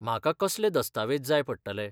म्हाका कसलें दस्तावेज जाय पडटले?